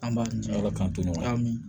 An b'a ala k'an tɔɔrɔ ya min